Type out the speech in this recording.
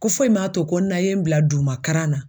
Ko foyi ma to ko n'a ye n bila duguma kalan na